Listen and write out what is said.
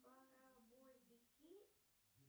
поровозики